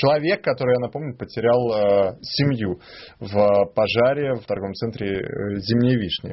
человек который я напомню потерял семью в пожаре в торговом центре зимняя вишня